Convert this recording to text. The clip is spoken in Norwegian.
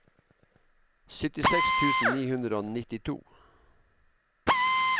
syttiseks tusen ni hundre og nittito